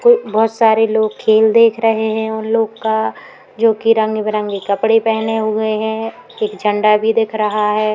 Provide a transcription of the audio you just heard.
उ बहोत सारे लोग खेल देख रहे हैं उन लोग का जो कि रंग बिरंगे कपड़े पहने हुए हैं। एक झंडा भी दिख रहा है।